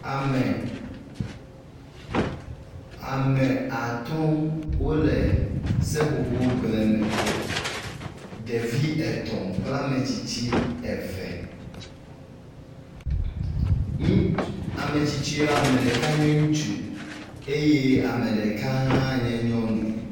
Ame ame atɔ̃ wole seƒoƒogble me, ɖevi etɔ̃ kple ametsitsi eve. Ŋuts…ametsitsia ɖeka nye nye ŋutsu eye ame ɖeka hã nye nyɔnu.